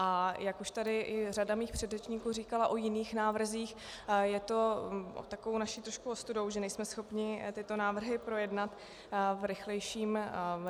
A jak už tady řada mých předřečníků říkala o jiných návrzích, je to takovou naší trochu ostudou, že nejsme schopní tyto návrhy projednat v rychlejším čase.